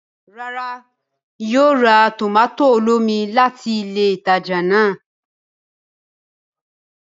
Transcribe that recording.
Ràrá, Èmí kìí yóò rà tomato olómi láti ilé ìtàjà náà